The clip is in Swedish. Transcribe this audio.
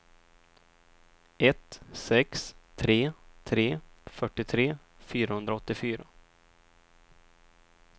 ett sex tre tre fyrtiotre fyrahundraåttiofyra